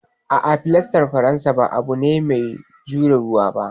A'a, filastar faransa ba abu ne mai jure ruwa ba.